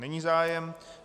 Není zájem.